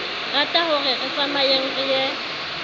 ratahore re tsamayeng re ye